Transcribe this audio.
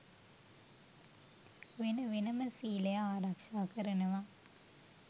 වෙන වෙනම සීලය ආරක්ෂා කරනව